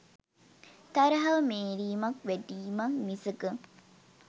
තරහව මේරීමක් වැඩීමක් මිසක